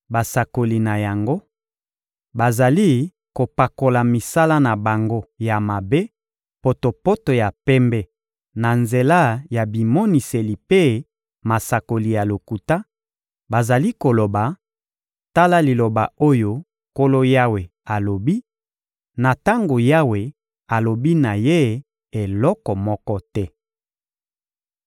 Basakoli na yango bazali kopakola misala na bango ya mabe potopoto ya pembe na nzela ya bimoniseli mpe masakoli ya lokuta; bazali koloba: ‹Tala liloba oyo Nkolo Yawe alobi,› na tango Yawe alobi na Ye eloko moko te.